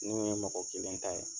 N'u ye mɔgɔ kelen ta ye